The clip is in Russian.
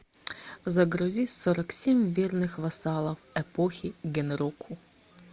загрузи сорок семь бедных вассалов эпохи гэнроку